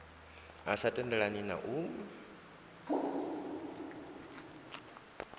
a sa tendelani na u